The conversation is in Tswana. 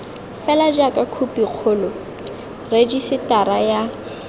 fela jaaka khopikgolo rejisetara ya